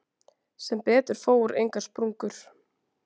Sem betur fór engar sprungur.